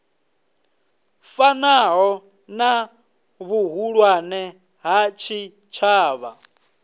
fanaho na vhuhulwane ha tshitshavha